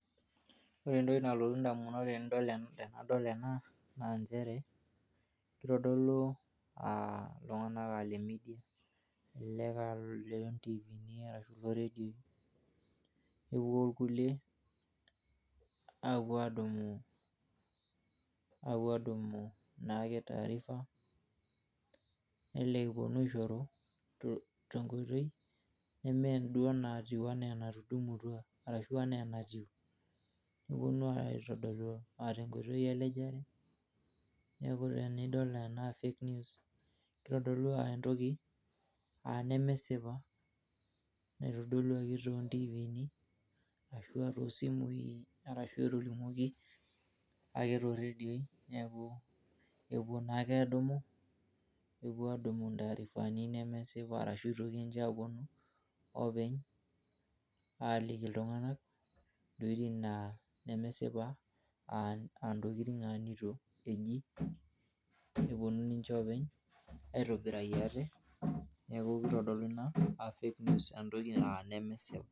Ore entoki nalotu ndamunot tenadol ena naa nchere, keitodolu iltung'anak lemidia, elelek aa loontiifini arashu looredioi. Kepuo ilkulie aapuo aadumu naake taarifa, nelelek epuonu aishoru tenkotoi nemeduo enatiu anaa enatudumutua, arashu anaa enatiu. Nepuonu aitodolu tenkoitoi elejare, neeku tenidol ena Fake News, keitodolu entoki nemesipa naitodoluaki toontiiifini arashua toosimui arashu etolimuoki ake tooradio neeku, kepuo naake aadumu, kepuo aadumu ntaarifani nemesipa arashu itoki ninche aapuonu oopeny aaliki iltung'anak intokitin naa nemesipa aa ntokitin neitu eji nepuonu ninche oopeny aitobiraki ate neeku keitodoluni naa anaa Fake News aa ntokitin nemesipa.